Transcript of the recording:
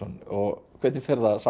og hvernig fer það saman